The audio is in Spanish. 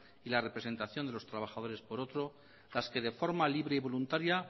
y la representación de los trabajadores por otro las que de forma libre y voluntaria